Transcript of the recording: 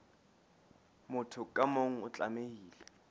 motho ka mong o tlamehile